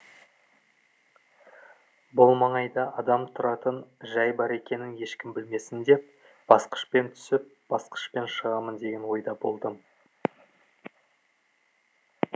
бұл маңайда адам тұратын жай бар екенін ешкім білмесін деп басқышпен түсіп басқышпен шығамын деген ойда болдым